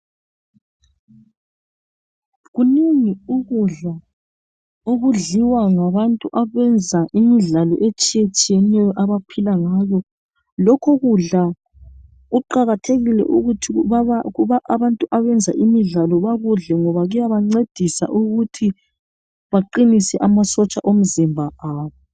Kunengi ukudla okudliwa ngabanta abenza imidlalo etshiyetshiyeneyo abaphila ngakho. Lokho kudla kuqakathekile ukuthi abantu abenza imidlalo bakudle ngoba kuyabancedisa ukuthi baqinise amasotsha omzimba abo.